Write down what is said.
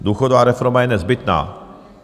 Důchodová reforma je nezbytná.